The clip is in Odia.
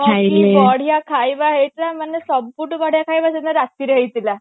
କି ବଢିଆ ଖାଇବା ହେଇଥିଲା ମାନେ ସବୁଠୁ ବଢିଆ ଖାଇବା ସେଦିନ ରାତିରେ ହେଇଥିଲା